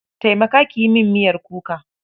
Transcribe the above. Taimaka ki yi min miyar kuka.